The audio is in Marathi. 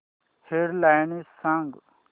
हेड लाइन्स सांग